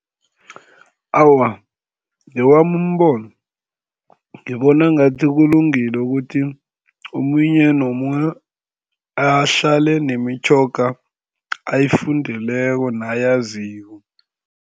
Awa, ngewami umbono, ngibona ngathi kulungile ukuthi omunye nomunye ahlale nemitjhoga ayifundeleko nayaziko.